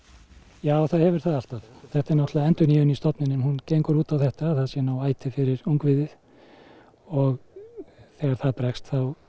já það hefur það alltaf þetta er náttúrulega endurnýjun í stofninum hún gengur út á þetta að það sé nóg æti fyrir ungviðið og þegar það bregst